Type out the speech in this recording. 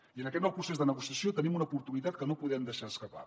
i en aquest nou procés de negociació tenim una oportunitat que no podem deixar escapar